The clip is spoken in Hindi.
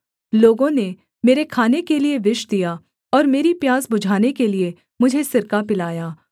लोगों ने मेरे खाने के लिये विष दिया और मेरी प्यास बुझाने के लिये मुझे सिरका पिलाया